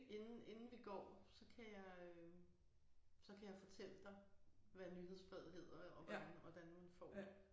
Inden inden vi går så kan jeg øh så kan jeg fortælle dig hvad nyhedsbrevet hedder og hvordan hvordan man får det